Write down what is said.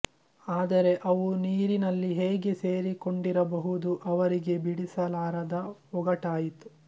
ಆದರೆ ಅವು ನೀರಿನಲ್ಲಿ ಹೇಗೆ ಸೇರಿಕೊಂಡಿರಬಹುದು ಅವರಿಗೆ ಬಿಡಿಸಲಾರದ ಒಗಟಾಯಿತು